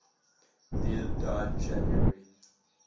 beard died january